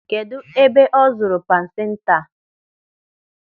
Kedụ ebe ọ zụrụ pansenta?